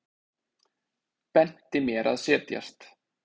Benti mér að setjast.